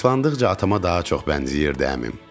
Yaşlandıqca atama daha çox bənzəyirdi əmim.